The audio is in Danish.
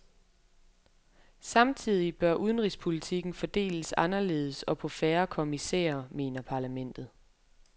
Samtidig bør udenrigspolitikken fordeles anderledes og på færre kommissærer, mener parlamentet.